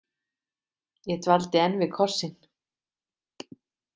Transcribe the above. Ég dvaldi enn við kossinn.